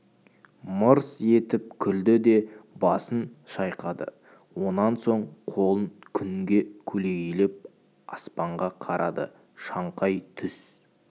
мырс етіп күлді де басын шайқады онан соң қолын күнге көлегейлеп аспанға қарады шаңқай түс